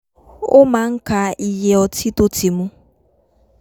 ó máa ń ka iye ọtí tó ti mu